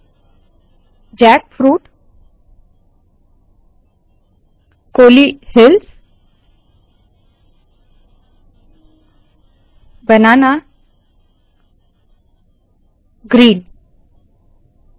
jackfruit Kolli hills banana green